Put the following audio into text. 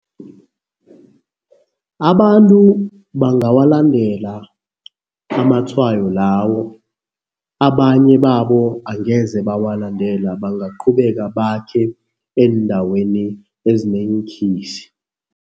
Abantu bangawalandela amatshwayo lawo. Abanye babo angeze bawalandela, bangaqhubeka bakhe eendaweni ezineenkhisi.